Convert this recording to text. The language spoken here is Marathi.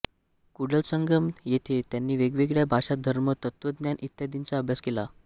कूडलसंगम येथे त्यांनी वेगवेगळ्या भाषा धर्म तत्त्वज्ञान इत्यादींचा अभ्यास केला